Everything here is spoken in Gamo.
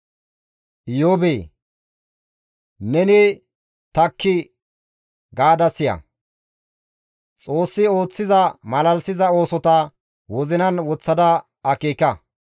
Iyoobee! Neni takki gaada siya; Xoossi ooththiza malalisiza oosota wozinan woththada akeeka.